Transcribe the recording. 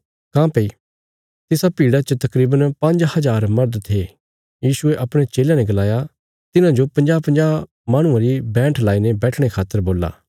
काँह्भई तिसा भीड़ा च तकरीवन पांज्ज हजार मर्द थे यीशुये अपणे चेलयां ने गलाया तिन्हांजो पंजाहपंजाह माहणुआं री बैंठ लाईने बैठणे खातर बोल्ला